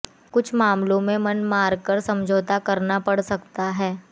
कुछ मामलों में मन मार कर समझौता करना पड़ सकता है